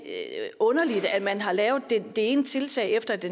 underligt at man har lavet det ene tiltag efter det